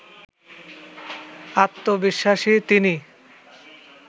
আত্মবিশ্বাসী তিনি